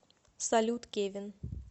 салют кевин